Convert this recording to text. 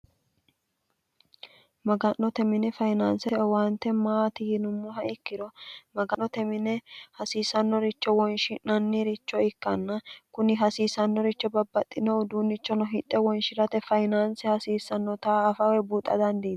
maganote mine fayinaanse owaante maati yinummoha ikkiro maganote mine hasiisannoricho wonshi'nanniricho ikkanna kuni hasiissannoricho babbaxxinohu duunnichono hidhe wonshi'rate fayinaanse hasiissannota afawe buuxa dandiin